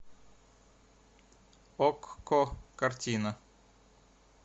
окко картина